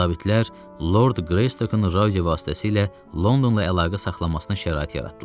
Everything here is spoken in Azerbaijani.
Zabitlər Lord Qreystokun radio vasitəsilə Londonla əlaqə saxlamasına şərait yaratdılar.